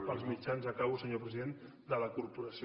per als mitjans acabo senyor president de la corporació